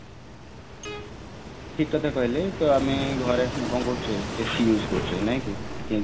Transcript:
ଠିକ କଥା କହିଲେ ତ ଆମେ ଘରେ କଣ କରୁଛେ AC use କରୁଛେ ନାଇଁ କି